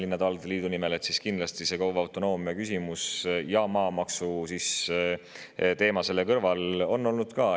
Kindlasti on KOV‑ide autonoomia küsimus ja maamaksu teema selle kõrval olnud.